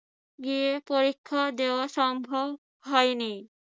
গিয়ে পরীক্ষা দেওয়া সম্ভব হয়নি।